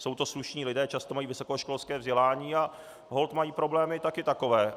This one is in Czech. Jsou to slušní lidé, často mají vysokoškolské vzdělání a holt mají problémy taky takové.